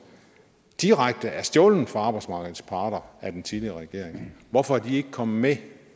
direkte er stjålet fra arbejdsmarkedets parter af den tidligere regering hvorfor er de ikke kommet med